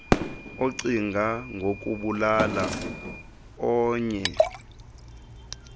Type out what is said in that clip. acinga ngokubulala ornnye